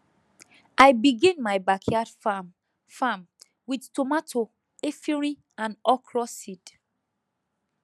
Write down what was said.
i begin my backyard farm farm with tomato efirin and okra seed